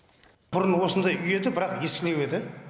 бұрын осындай үй еді бірақ ескілеу еді